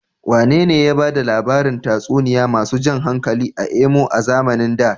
Wanene ya ba da labarin tatsuniyoyi masu jan hankali a Imo a zamanin da?